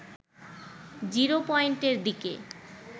zero পয়েন্টের দিকে